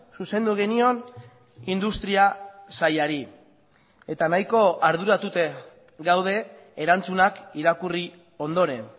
zuzendu genion industria sailari eta nahiko arduratuta gaude erantzunak irakurri ondoren